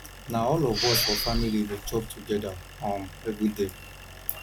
na all of us for family dey chop togeda um everyday